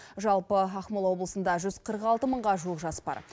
жалпы ақмола облысында жүз қырық алты мыңға жуық жас бар